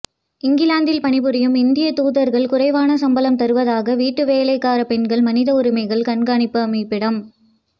இங்கிலாந்தில் பணிபுரியும் இந்திய தூதர்கள் குறைவான சம்பளம் தருவதாக வீட்டு வேலைக்கார பெண்கள் மனித உரிமைகள் கண்காணிப்பு அமைப்பிடம்